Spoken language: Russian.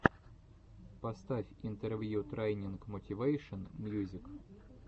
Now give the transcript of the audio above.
поставь интервью трайнинг мотивэйшен мьюзик